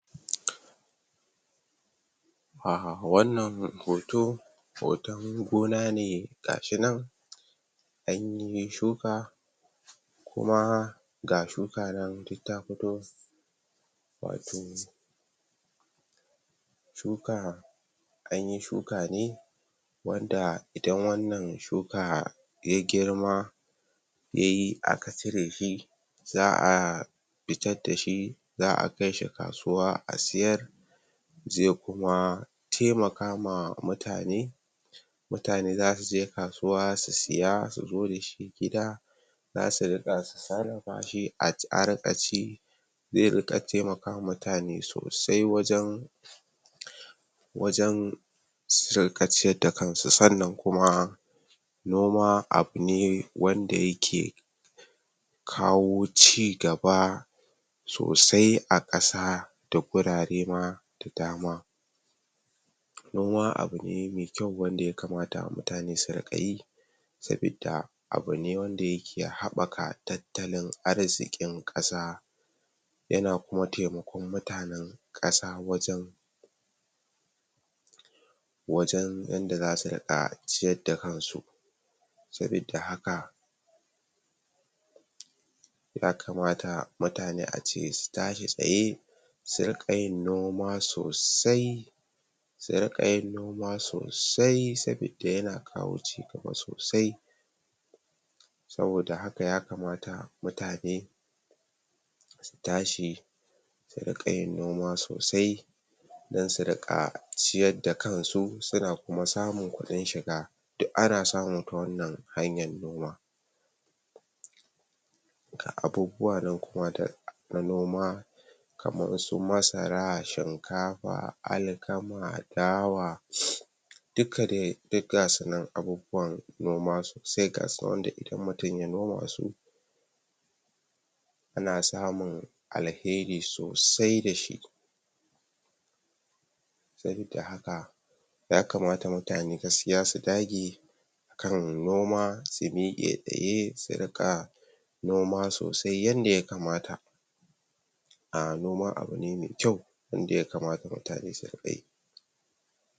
a wannan hoto hoton gonane gashi nan anyi shuka kuma ga shuka nan tafito shuka anyi shuka ne wanda idan wannan shuka ya girma yayi aka cire shi za'a fitardashi za'a kaishi kasuwa a siyar ze kuma taimaka ma mutane mutane zasuje kasuwa su siya suzo gidashi gida zasu ringa sarrafa shi a a ringa ci za ringa taimakawa mutane sosai wajan wajan su ringa ciyar da kansu sa'anan kuma noma abu ne wanda yake kawo cigaba sosai akasa da wurare ma da dama noma abu ne me kyau wanda ya kamata mutane su ringa yi sabida abu ne wanda yake habaka tattalin arziki kasa yana kuma taimakon mutanen kasa wajan wajan yanda zasu ringa ciyar da kansu sabida haka ya kamata mutane ace su tashi tsaye su ringa yin noma sosai suringa yin noma sosai sabida yana kawo cigaba sosai saboda haka ya kamata mutane su tashi su ringa yin noma sosai don su rika ciyarda kansu suna kuma samun kudin shiga duk ana samu ta wannan hanyar noma a abubuwa na noma abu su masara, shinkafa ,,alkama, dawa duka de duk gasu nan abubuwan noma sosai gasu wanda idan mutum ya noma su ana samun al'hairi sosai dashi sabida haka ya kamata mutane gaskiya su dage kan noma su mike tsaye su rinka noma sosai yanda ya kamata a noma abune mai kyau wanda yakamata mutane su ringa yi